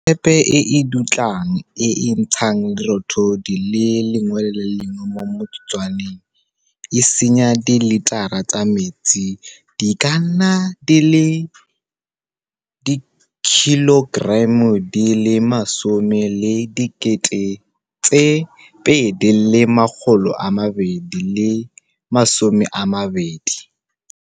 Thepe e e dutlang e e ntshang lerothodi le le lengwe mo motsotswaneng e senya diletara tsa metsi di ka nna di le 10 220 ka ngwaga.